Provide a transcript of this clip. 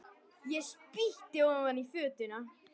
Ég spýti ofan í fötuna.